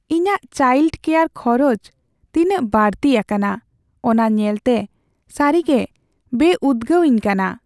ᱤᱧᱟᱹᱜ child care ᱠᱷᱚᱨᱚᱪ ᱛᱤᱱᱟᱹᱜ ᱵᱟᱹᱲᱛᱤ ᱟᱠᱟᱱᱟ ᱚᱱᱟ ᱧᱮᱞᱛᱮ ᱥᱟᱹᱨᱤᱜᱮ ᱵᱮᱼᱩᱫᱽᱜᱟᱹᱣᱤᱧ ᱠᱟᱱᱟ ᱾